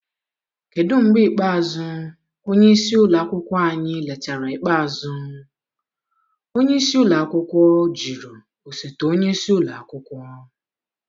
Kedu mgbe ikpeazụ onye isi ụlọ akwụkwọ anyị letara ikpeazụ? onyeisi ụlọ akwụkwọ jụrụ osote onye isi ụlọ akwụkwọ.